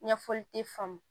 Ɲɛfɔli te faamu